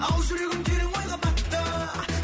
ал жүрегім терең ойға батты